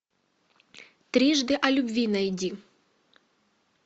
трижды о любви найди